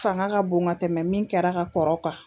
Fanga ka bon ka tɛmɛ min kɛra ka kɔrɔ kan